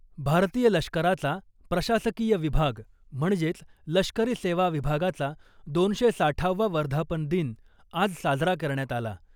भारतीय लष्कराचा प्रशासकीय विभाग म्हणजेच लष्करी सेवा विभागाचा दोनशे साठावा वर्धापन दिन आज साजरा करण्यात आला .